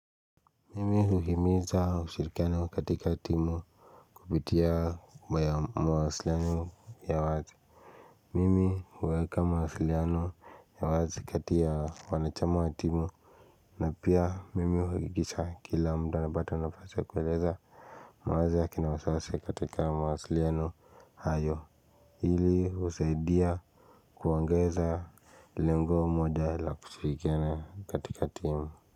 Mimi huhimiza ushirikiano katika timu kupitia mawasiliano ya wazi Mimi huweka mawasiliano ya wazi kati ya wanachama wa timu na pia mimi huigisha kila mda napata nafasi ya kueleza mawazo akina wasiwasi katika mawasiliano hayo hili usaidia kuwaongeza lengo moja la kushirikana katika timu.